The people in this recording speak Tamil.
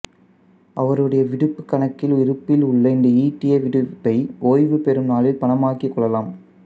அவருடைய விடுப்புக் கண்ணக்கில் இருப்பில் உள்ள இந்த ஈட்டிய விடுப்பை ஓய்வு பெறும் நாளில் பணமாக்கிக் கொள்ளலாம்